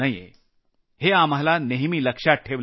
हे आपल्याला नेहमी लक्षात ठेवलं पाहिजे